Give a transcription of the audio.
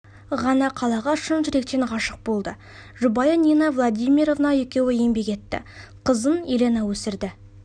ғана қалаға шын жүректен ғашық болды жұбайы нина владимировна екеуі еңбек етті қызын еленаны өсірді